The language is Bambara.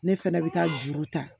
Ne fɛnɛ bɛ taa juru ta